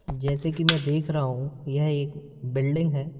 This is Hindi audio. जैसे कि मैं देख रहा हूं यह एक बिल्डिंग है।